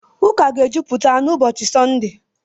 Ụka ga-ejupụta n'ụbọchị Sọnde.